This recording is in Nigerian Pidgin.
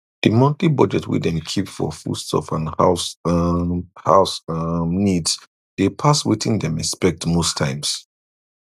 the monthly budget wey dem keep for foodstuff and house um house um needs dey pass wetin dem expect most times